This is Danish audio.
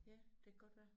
Ja det kan godt være